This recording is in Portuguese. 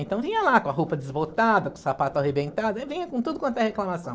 Então vinha lá com a roupa desbotada, com o sapato arrebentado, e vinha com tudo quanto é reclamação.